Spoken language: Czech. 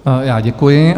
Já děkuji.